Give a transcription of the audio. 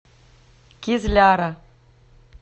кизляра